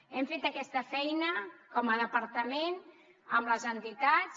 hem fet aquesta feina com a departament amb les entitats